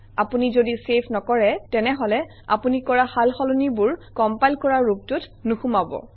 আপুনি যদি চেভ নকৰে তেনেহলে আপুনি কৰা সাল সলনিবোৰ কমপাইল কৰা ৰূপটোত নোসোমাব